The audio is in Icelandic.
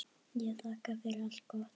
Ég þakka fyrir allt gott.